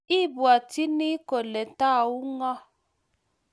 Ibwotyini kole Tau ngo?